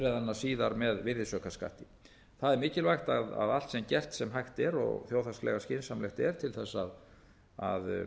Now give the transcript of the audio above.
bifreiðanna síðar með virðisaukaskatti það er mikilvægt að allt sé gert sem hægt er og þjóðhagslega skynsamlegt er til þess að